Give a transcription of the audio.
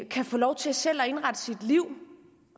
kan få lov til selv at indrette sit liv